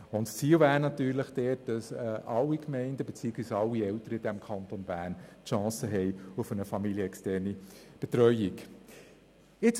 Das Ziel ist natürlich, dass alle Gemeinden beziehungsweise alle Eltern im Kanton Bern die Chance auf eine familienexterne Betreuung haben.